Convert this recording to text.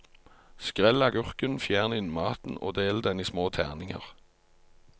Skrell agurken, fjern innmaten og del den i små terninger.